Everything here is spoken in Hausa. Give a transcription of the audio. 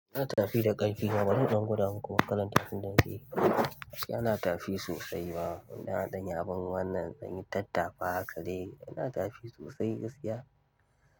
Ana tafi da ƙarfi kuma ba zan gudu ba kuma kalan tafin dambe yana tafi sosai ma. Ina haɗin abin wannan zanyi tattafa haka dai yana tafi sosai gaskiya.